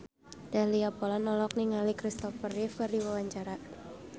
Dahlia Poland olohok ningali Christopher Reeve keur diwawancara